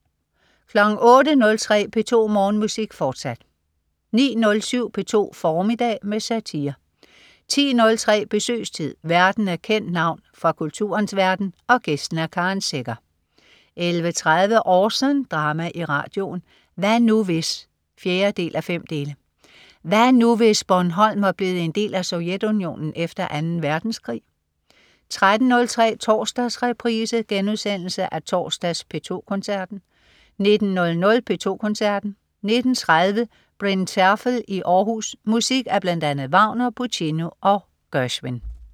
08.03 P2 Morgenmusik, fortsat 09.07 P2 formiddag med satire 10.03 Besøgstid. Værten er et kendt navn fra kulturens verden, gæsten er Karen Secher 11.30 Orson. Drama i radioen. "Hvad nu hvis?" 4:5. Hvad nu, hvis Bornholm var blevet en del af Sovjetunionen efter Anden Verdenskrig? 13.03 Torsdagsreprise. Genudsendelse af torsdags P2 Koncerten 19.00 P2 Koncerten. 19.30 Bryn Terfel i Århus. Musik af bl.a. Wagner, Puccini og Gershwin